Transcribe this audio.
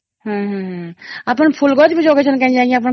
ହମ୍ମ ହମ୍ମ ହମ୍ମ ଆପଣ ଫୁଲ ଗଛ ବି ଜଗେଇଛନ୍ତି କାଇଁକି ଆପଣ ଯାଇକି କ୍ଷେତ ଥି